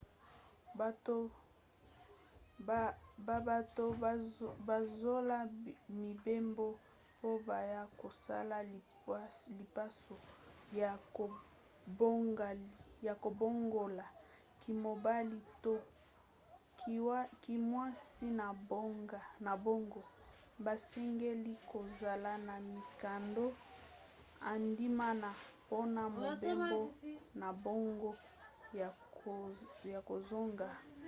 babato bazola mibembo po baya kosala lipaso ya kobongola kimobali to kimwasi na bango basengeli kozala na mikanda endimami mpona mobembo na bango ya kozonga